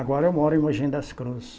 Agora eu moro em Mogi das Cruzes.